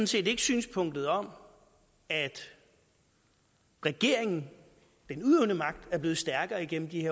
set ikke synspunktet om at regeringen den udøvende magt er blevet stærkere igennem de